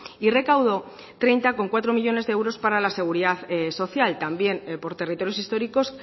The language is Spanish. y recaudó treinta coma cuatro millónes de euros para la seguridad social también por territorios históricos